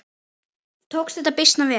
Tókst þetta býsna vel.